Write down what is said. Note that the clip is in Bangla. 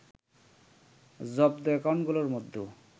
“জব্দ অ্যাকাউন্টগুলোর মধ্যে